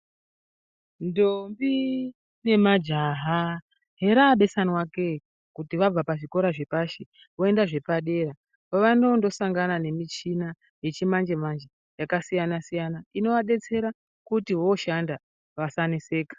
Ndombi nemajaha heraabesanwa ke kuti vabva pazvikora zvepashi voenda zvepadera kwavanondosangana nemichina yechimanje-manje yakasiyana-siyana, inovadetsera kuti vooshanda vasaneseka.